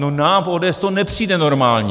No, nám v ODS to nepřijde normální.